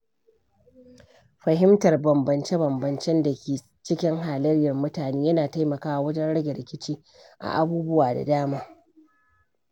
Fahimtar bambance-bambancen da ke cikin halayyar mutane yana taimakawa wajen rage rikici a abubuwa da dama na rayuwa.